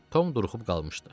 Tom duruxub qalmışdı.